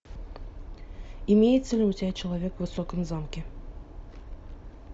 имеется ли у тебя человек в высоком замке